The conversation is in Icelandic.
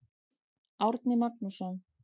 Árni Magnússon.